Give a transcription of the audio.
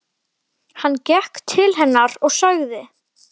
Hann gekk til hennar og sagði